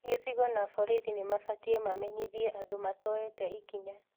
Gĩcigo na borithi nĩ mabatiĩ mamenyithie andũ matoete ikinya